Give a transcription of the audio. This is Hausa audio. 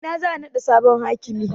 A ina za a naɗa sabon hakimin?